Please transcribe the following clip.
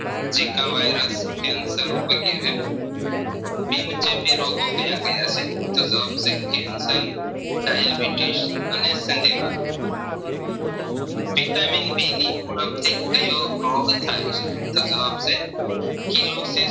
બિન ખેતી રોગો ક્યાં ક્યાં છે તો જવાબ છે Cancer Diabetes અને સન્ધિવા vitamin D ની ઉણપ થી કયો રોગ થાય છે તો જવાબ છે philosophies